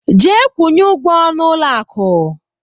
Jee kwunye ụgwọ n'ụlọ akụ!